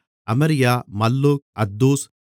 அமரியா மல்லூக் அத்தூஸ்